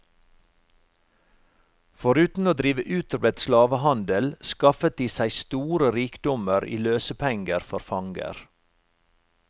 Foruten å drive utbredt slavehandel skaffet de seg store rikdommer i løsepenger for fanger.